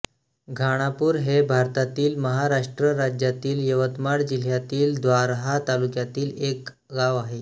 घाणापूर हे भारतातील महाराष्ट्र राज्यातील यवतमाळ जिल्ह्यातील दारव्हा तालुक्यातील एक गाव आहे